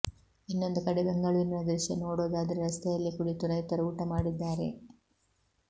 ಇನ್ನೊಂದು ಕಡೆ ಬೆಂಗಳೂರಿನ ದೃಶ್ಯ ನೋಡೋದಾದ್ರೆ ರಸ್ತೆಯಲ್ಲೇ ಕುಳಿತು ರೈತರು ಊಟ ಮಾಡಿದ್ದಾರೆ